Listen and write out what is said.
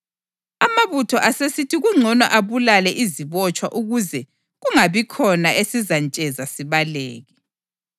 Amabutho asesithi kungcono abulale izibotshwa ukuze kungabikhona esizantsheza sibaleke.